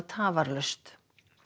tafarlaust